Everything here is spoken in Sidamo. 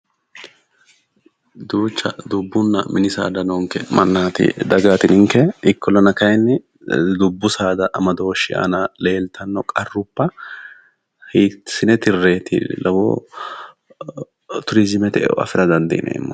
Duucha dubbunna mini saada noonke ikkollana kayinni dubbu saada aana leeltanno qarrubba hiissine tirreeti turiizimete eo afira dandiineemmohu